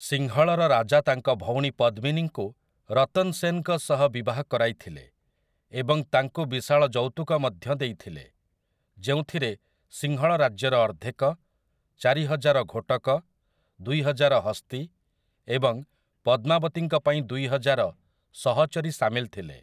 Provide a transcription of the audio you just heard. ସିଂହଳର ରାଜା ତାଙ୍କ ଭଉଣୀ ପଦ୍ମିନୀଙ୍କୁ ରତନ୍ ସେନ୍‌ଙ୍କ ସହ ବିବାହ କରାଇଥିଲେ ଏବଂ ତାଙ୍କୁ ବିଶାଳ ଯୌତୁକ ମଧ୍ୟ ଦେଇଥିଲେ, ଯେଉଁଥିରେ ସିଂହଳ ରାଜ୍ୟର ଅର୍ଦ୍ଧେକ, ଚାରିହଜାର ଘୋଟକ, ଦୁଇହଜାର ହସ୍ତୀ ଏବଂ ପଦ୍ମାବତୀଙ୍କ ପାଇଁ ଦୁଇହଜାର ସହଚରୀ ସାମିଲ ଥିଲେ ।